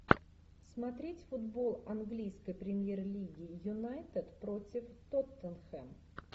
смотреть футбол английской премьер лиги юнайтед против тоттенхэм